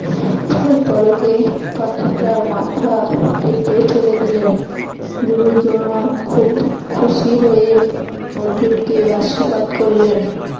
পলকে পাখিটার মাথা কেটে ফেলে দিলেন গুরু দ্রোণ খুব খুশি হয়ে অর্জুনকে আশির্বাদ করলেন